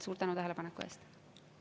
Suur tänu tähelepaneku eest!